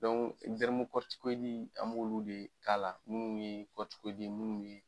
an b'olu de k'a la, nunnu ye minnu ye.